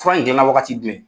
Fura in gilanna wagati jumɛn?